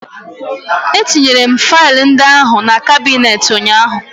Etinyere m faịlụ ndị ahụ na kabinet ụnyaahụ